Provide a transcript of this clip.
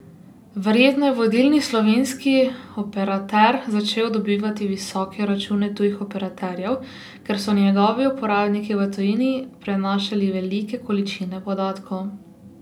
Verjetno je vodilni slovenski operater začel dobivati visoke račune tujih operaterjev, ker so njegovi uporabniki v tujini prenašali velike količine podatkov.